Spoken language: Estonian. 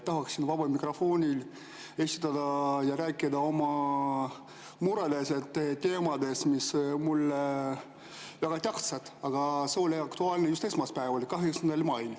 Tahaksin vabas mikrofonis rääkida oma mureteemast, mis on mulle väga tähtis, aga see oli aktuaalne just esmaspäeval, 8. mail.